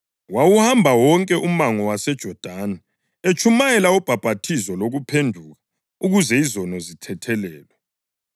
Wawuhamba wonke umango waseJodani, etshumayela ubhaphathizo lokuphenduka ukuze izono zithethelelwe.